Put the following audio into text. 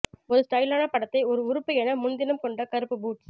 ஒரு ஸ்டைலான படத்தை ஒரு உறுப்பு என முன்தினம் கொண்ட கருப்பு பூட்ஸ்